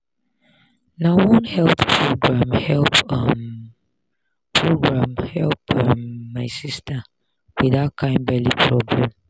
na one health program help um program help um my sister with that kind belly problem.